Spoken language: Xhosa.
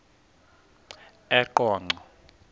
eqonco